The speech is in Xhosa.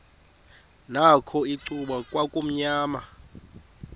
nakho icuba kwakumnyama